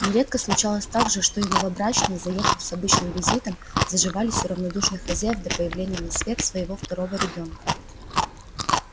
нередко случалось также что и новобрачные заехав с обычным визитом заживались у радушных хозяев до появления на свет своего второго ребёнка